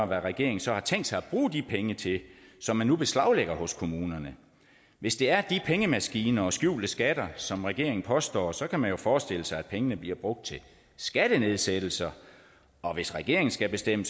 hvad regeringen så har tænkt sig at bruge de penge til som man nu beslaglægger hos kommunerne hvis det er de pengemaskiner og skjulte skatter som regeringen påstår så kan man jo forestille sig at pengene bliver brugt til skattenedsættelser og hvis regeringen skal bestemme